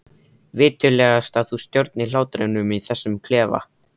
Viturlegast að þú stjórnir hlátrinum í þessum klefa.